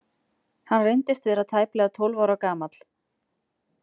Hann reyndist vera tæplega tólf ára gamall.